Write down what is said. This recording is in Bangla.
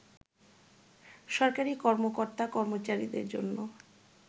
সরকারি কর্মকর্তা-কর্মচারীদের জন্য